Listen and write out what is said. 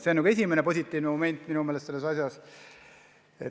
See on esimene positiivne moment minu meelest selles asjas.